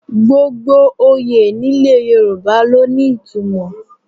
Gbogbo oyè nílẹ̀ Yorùbá ló ní ìtumọ̀